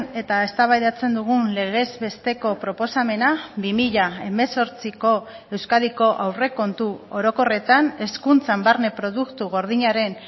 eta eztabaidatzen dugun legez besteko proposamena bi mila hemezortziko euskadiko aurrekontu orokorretan hezkuntzan barne produktu gordinaren